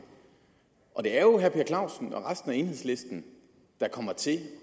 og det er jo herre per clausen og resten af enhedslisten der kommer til